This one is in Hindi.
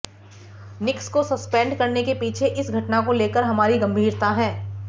निक्स को सस्पेंड करने के पीछे इस घटना को लेकर हमारी गंभीरता है